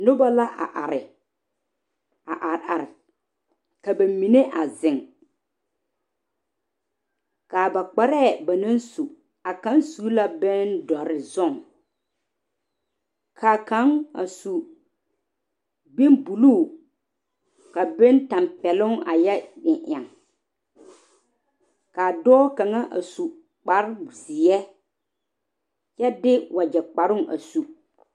Noba la a are a are are ka ba mine a zeŋ kaa ba kparɛ ba naŋ su a kaŋ su la bindɔre zɔge kaa kaŋ a su bon buluu ka bon tanpɛloŋ a yɛ eŋ eŋ ka dɔɔ kaŋa a su kpare ziɛ kyɛ de wagye kparo a su.